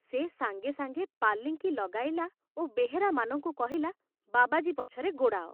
ସେ ସାଙ୍ଗେ ସାଙ୍ଗେ ପାଲିଙ୍କି ଲଗାଇଲା ଓ ବେହେରାମାନଙ୍କୁ କହିଲା ବାବାଜୀ ପଛରେ ଗୋଡ଼ାଅ।